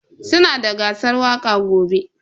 Sunada gasar waƙa gobe.